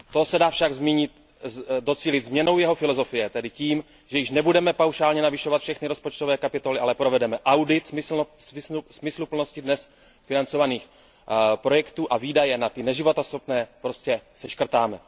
Toho se však dá docílit změnou jeho filozofie, tedy tím, že již nebudeme paušálně navyšovat všechny rozpočtové kapitoly, ale provedeme audit smysluplnosti dnes financovaných projektů, a výdaje na ty neživotaschopné prostě seškrtáme.